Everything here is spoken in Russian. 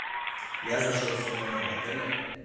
я зашел в свой номер в отеле